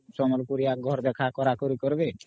ସମ୍ବଲପୁରିଆ ଘର ଦେଖା କରା କରି କରବି